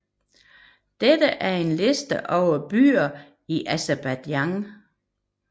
Dette er en liste over byer i Aserbajdsjan